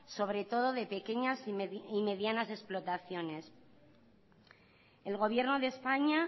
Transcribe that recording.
sobre todo de pequeñas y medianas explotaciones el gobierno de españa